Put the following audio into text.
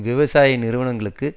விவசாய நிறுவனங்களுக்கு